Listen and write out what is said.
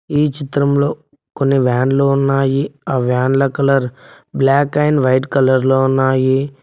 ఈ చిత్రంలో కొన్ని వ్యాన్ లో ఉన్నాయి ఆ వ్యాన్ల colour black and white colour లో ఉన్నాయి.